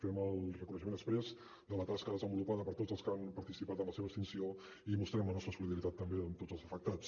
fem el reconeixement exprés de la tasca desenvolupada per tots els que han participat en la seva extinció i mostrem la nostra solidaritat també amb tots els afectats